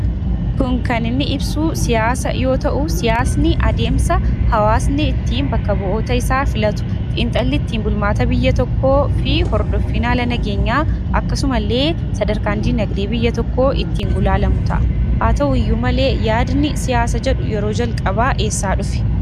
Kun kan inni ibsuu siyaasa yoo ta'uu siyaasni adeemsa hawaasni ittiin bakka bu'oota isaa filatu xiinxalli ittiin bulmaata biyya tokkoo fi hordoffiin haala nageenyaa akkasumallee sadarkaan diinagdee biyya tokkoo ittiin gulaalamu ta'a. Haa ta'uyyuu malee yaadni siyaasa jedhu yeroo jalqabaa eessaa dhufe?